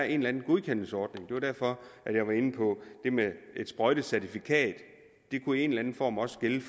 en eller anden godkendelsesordning og det var derfor jeg var inde på det med et sprøjtecertifikat det kunne i en eller anden form også gælde